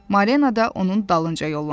Marlenə də onun dalınca yollandı.